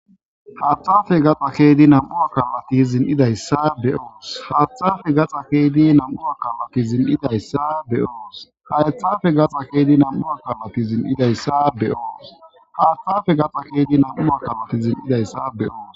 Haaththafe gaxa kedi nam'ua kalati zin'idayssa beoos haaththafe gaxa keydi nam'u a kalati zin'idayssa beyoos haethafe gaxa keedi nam'ua kalati zin'idayssa be oos haaththafe gaxa keedi nam'u a kalati zin'idayssa be'oos.